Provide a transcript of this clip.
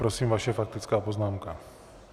Prosím, vaše faktická poznámka.